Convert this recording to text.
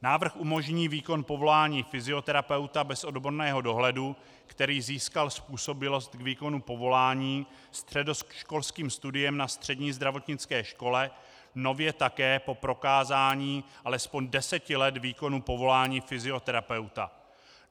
Návrh umožní výkon povolání fyzioterapeuta bez odborného dohledu, který získal způsobilost k výkonu povolání středoškolským studiem na střední zdravotnické škole, nově také po prokázání alespoň deseti let výkonu povolání fyzioterapeuta.